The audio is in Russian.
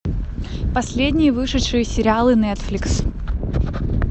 последние вышедшие сериалы нетфликс